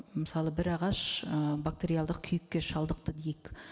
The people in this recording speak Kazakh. мысалы бір ағаш ы бактериалдық күйікке шалдықты дейік